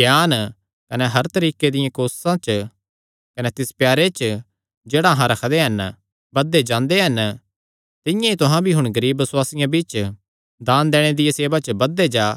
ज्ञान कने हर तरीके दियां कोससां च कने तिस प्यारे च जेह्ड़ा अहां रखदे हन बधदे जांदे हन तिंआं ई तुहां भी हुण गरीब बसुआसियां बिच्च दान दैणे दिया सेवा च बधदे जा